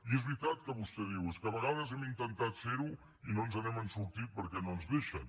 i és veritat que vostè diu és que a vegades hem intentat fer ho i no ens n’hem sortit perquè no ens deixen